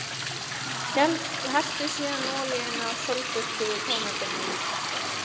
Helltu síðan olíunni af sólþurrkuðu tómötunum yfir pastað.